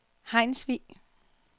Hejnsvig